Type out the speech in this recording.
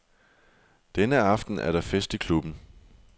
Denne aften er der fest i klubben.